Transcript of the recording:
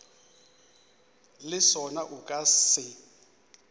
le sona o ka se